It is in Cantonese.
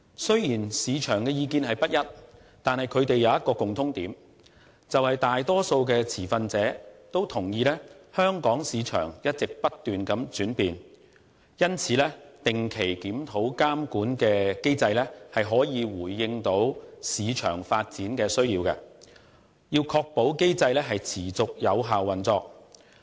雖然市場的意見不一，但卻有一個共通點，便是大多數持份者均同意香港市場一直不斷轉變，因此定期檢討監管的機制可以回應市場發展的需要，確保機制持續有效運作。